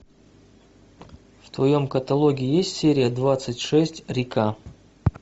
в твоем каталоге есть серия двадцать шесть река